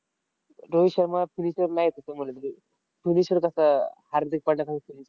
Rohit Sharma finisher नाही येत रे तसं म्हणलं तरी. finisher कसा हार्दिक पांड्यासारखा